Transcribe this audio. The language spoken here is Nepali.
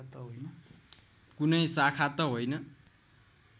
कुनै शाखा त होइन